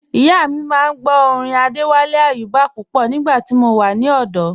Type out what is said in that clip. Ìyà mi máa n gbọ̀ orin Adéwálé Ayúbà pupọ̀ nígba tí a wà ní ọdò